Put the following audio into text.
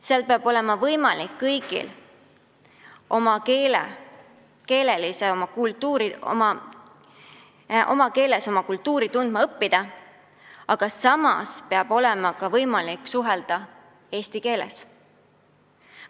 Seal peab olema võimalik kõigil oma emakeeles oma kultuuri tundma õppida, aga samas peab ka olema võimalik suhelda eesti keeles.